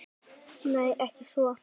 Nei, ekki svo.